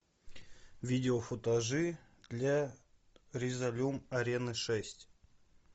видео футажи для резолюм арены шесть